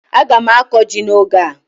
Aga m akụ ji n'oge a.